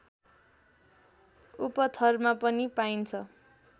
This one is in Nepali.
उपथरमा पनि पाइन्छ